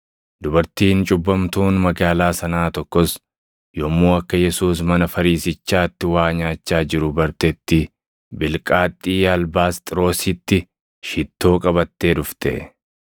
Dubartiin cubbamtuun magaalaa sanaa tokkos yommuu akka Yesuus mana Fariisichaatti waa nyaachaa jiru bartetti bilqaaxxii albaasxiroositti shittoo qabattee dhufte.